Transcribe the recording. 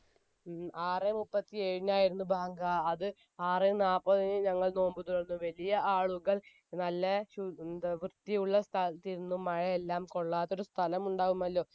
ആറ് മുപ്പത്തിഏഴിനായിരുന്നു ബാങ്ക് അത് ആറ് നാല്പത്തിന് ഞങ്ങൾ നോമ്പ് തുറന്നു വലിയ ആളുകൾ നല്ല ശു വൃത്തിയുള്ള സ്ഥലത്തിരുന്നു മഴയെല്ലാം കൊള്ളാത്തൊരു സ്ഥലമുണ്ടാവുമല്ലോ